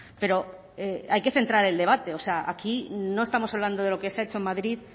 pero hay que centrar el debate o sea aquí no estamos hablando de lo que se ha hecho en madrid